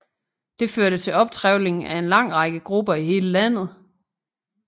Det førte til optrevling af en lang række grupper i hele landet